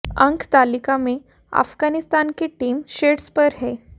अंक तालिका में अफगानिस्तान की टीम शीर्ष पर है